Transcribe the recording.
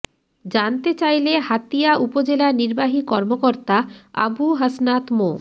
জানতে চাইলে হাতিয়া উপজেলা নির্বাহী কর্মকর্তা আবু হাসনাত মো